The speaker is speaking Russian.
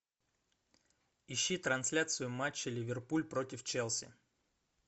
ищи трансляцию матча ливерпуль против челси